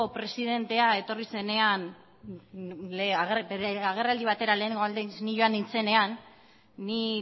presidente etorri zenean bere agerraldi batera lehenengo aldiz ni joan nintzenean ni